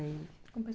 Com... Com o